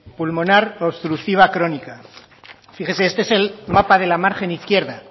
pulmonar obstructiva crónica fíjese este es el mapa de la margen izquierda